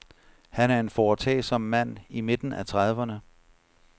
Han er en foretagsom mand i midten af trediverne.